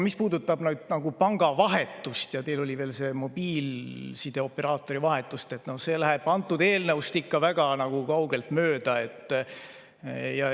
Mis puudutab pangavahetust ja seda, mis teil veel oli mainitud, mobiilsideoperaatori vahetust, siis see läheb antud eelnõust ikka väga kaugelt mööda.